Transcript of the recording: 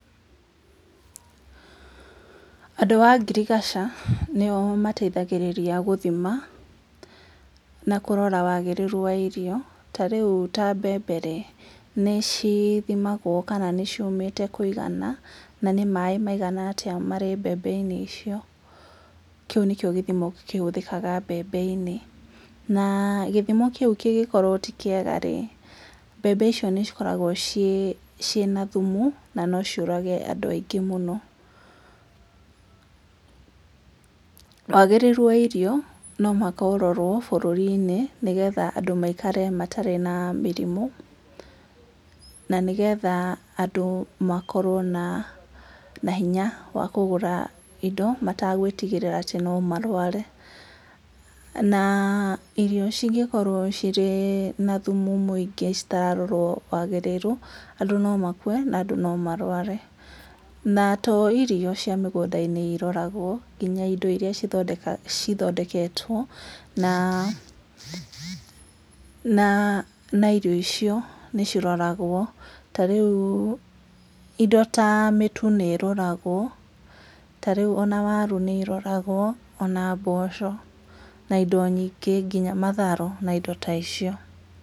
Andũ a ngirigaca nĩo mateithagĩrĩria gũthima na kũrora wagĩrĩru wa irio, ta rĩu ta mbembe rĩ nĩcithimagwo kana nĩ ciũmĩte kũigana na nĩ maĩ maigana atĩa marĩ mbembe-inĩ icio, kĩu nĩkio gĩthimo kĩhũthĩkaga mbembe-inĩ. Na gĩthimo kĩu kĩngĩkorwo ti kĩega rĩ mbembe icio nĩ cikoragwo ciĩna thumu na no ciũrage andũ aingĩ mũno. Wagĩrĩru wa irio no mũhaka ũrorwo bũrũri-inĩ, nĩgetha andũ maikare matarĩ na mĩrimũ, na nĩgetha andũ makorwo na hinya wa kũgũra indo mategwĩtigĩra atĩ no marware, na irio cingĩkorwo ciĩna thumu mũingĩ citararorwo wagĩrĩru, andũ no makue na andũ no marware. Na to irio cia mĩgũnda-inĩ iroragwo, nginya indo irĩa cithondeketwo na irio icio nĩ ciroragwo, ta rĩu indo ta mĩtu nĩ ĩroragwo, ta rĩu ona waru nĩ iroragwo, ona mboco na indo nyingĩ nginya matharũ, na indo ta icio.